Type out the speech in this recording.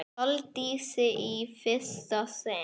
Sóldísi í fyrsta sinn.